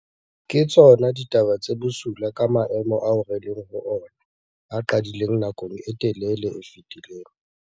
Ke tsona ditaba tse bosula ka maemo ao re leng ho ona, a qadileng nakong e telele e fetileng.